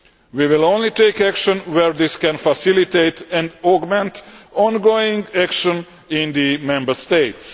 We will only take action where this can facilitate and augment ongoing action in the Member States.